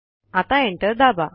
आता एंटर दाबा